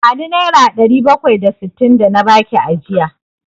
Bani Naira ɗari bakwai da sittin da na baki ajiya!